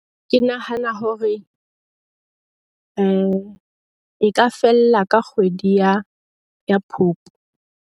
Ke nahana hore e ka fella ka kgwedi ya Phupu.